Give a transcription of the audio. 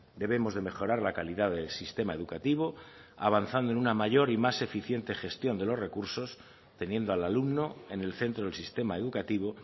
debemos de mejorar la calidad del sistema educativo avanzando en una mayor y más eficiente gestión de los recursos teniendo al alumno en el centro del sistema educativo